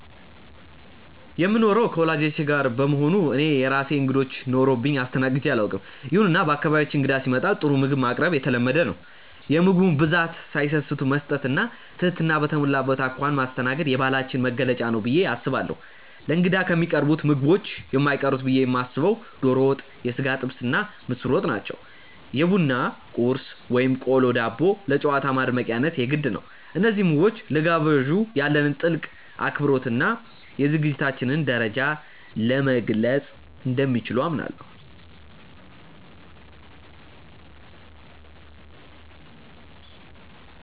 የምኖረው ከወላጆቼ ጋር በመሆኑ እኔ የራሴ እንግዶች ኖረውብኝ አስተናግጄ አላውቅም። ይሁንና በአካባቢያችን እንግዳ ሲመጣ ጥሩ ምግብ ማቅረብ የተለመደ ነው። የምግቡን ብዛት ሳይሰስቱ መስጠት እና ትህትና በተሞላበት አኳኋን ማስተናገድ የባህላችን መገለጫ ነው ብዬ አስባለሁ። ለእንግዳ ከሚቀርቡት ምግቦች የማይቀሩት ብዬ የማስበው ዶሮ ወጥ፣ የሥጋ ጥብስ እና ምስር ወጥ ናቸው። የቡና ቁርስ (ቆሎ፣ ዳቦ) ለጨዋታው ማድመቂያነት የግድ ነው። እነዚህ ምግቦች ለጋባዡ ያለንን ጥልቅ አክብሮት እና የዝግጅታችንን ደረጃ መግለፅ እንደሚችሉ አምናለሁ።